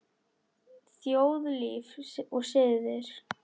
Þjóðlíf og siðir